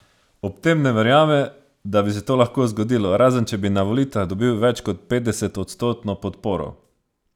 Ob tem ne verjame, da bi se to lahko zgodilo, razen če bi na volitvah dobil več kot petdesetodstotno podporo.